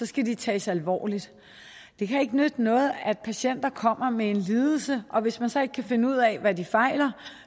skal de tages alvorligt det kan ikke nytte noget at patienter kommer med en lidelse og hvis man så ikke kan finde ud af hvad de fejler